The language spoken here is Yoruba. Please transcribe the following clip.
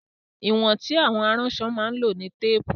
Ìwọ̀n tí àwọn aránṣọ máa ń lò ní Téépù